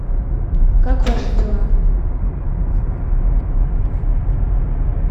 как ваши дела